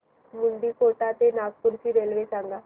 मुंडीकोटा ते नागपूर ची रेल्वे सांगा